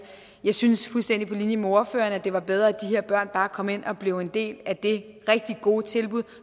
jeg synes fuldstændig på linje med ordføreren at det var bedre at her børn bare kom ind og blev en del af det rigtig gode tilbud